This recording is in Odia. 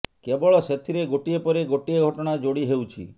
କେବଳ ସେଥିରେ ଗୋଟିଏ ପରେ ଗୋଟିଏ ଘଟଣା ଯୋଡ଼ି ହେଉଛି